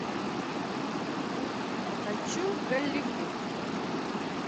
хочу в голливуд